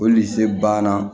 banna